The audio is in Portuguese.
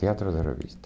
Teatro de revista.